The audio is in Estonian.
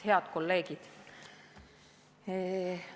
Head kolleegid!